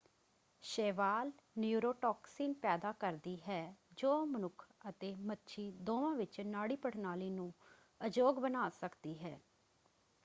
ਸ਼ੈਵਾਲ neurotoxin ਪੈਦਾ ਕਰਦੀ ਹੈ ਜੋ ਮਨੁੱਖ ਅਤੇ ਮੱਛੀ ਦੋਵਾਂ ਵਿੱਚ ਨਾੜੀ ਪ੍ਰਣਾਲੀ ਨੂੰ ਅਯੋਗ ਬਣਾ ਸਕਦੀ ਹੈ।